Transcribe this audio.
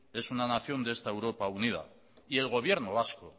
de esta europa unida y el gobierno vasco